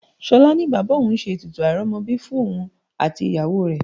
Ṣolá ní bàbá òun ṣe ètùtù airomobi fún òun àti ìyàwó rẹ.